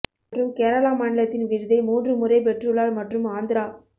மற்றும் கேரளா மாநிலத்தின் விருதை மூன்று முறை பெற்றுள்ளார் மற்றும் ஆந்திரா